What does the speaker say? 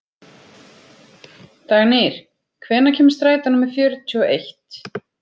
Dagnýr, hvenær kemur strætó númer fjörutíu og eitt?